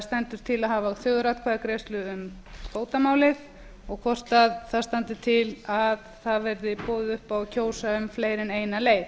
stendur til að hafa þjóðaratkvæðagreiðslu um kvótamálið og hvort það standi til að það verði boðið upp á að kjósa um fleiri en eina leið